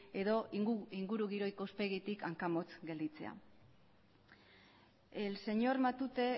edo ingurugiro ikuspegitik hanka motz gelditzea el señor matute